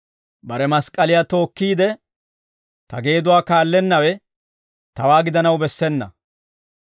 Bare mask'k'aliyaa tookkiide, ta geeduwaa kaallennawe tawaa gidanaw bessena.